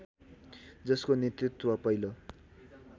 जसको नेतृत्व पहिलो